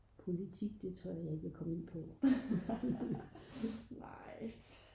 politik det tør jeg ikke komme ind på